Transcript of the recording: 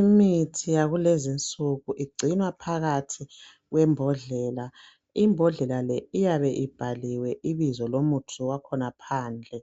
Imithi yakulezinsuku igcinwa phakathi kwembodlela, imbodlela le iyabe ibhaliwe ibizo lomuthi wakhona phandle